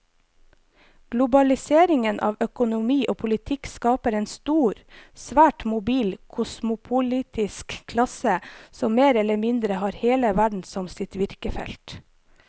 Globaliseringen av økonomi og politikk skaper en stor, svært mobil kosmopolitisk klasse som mer eller mindre har hele verden som sitt virkefelt.